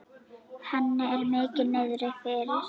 Henni er mikið niðri fyrir.